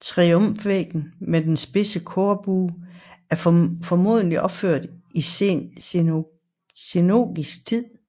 Triumfvæggen med den spidse korbue er formodentlig opført i sengotisk tid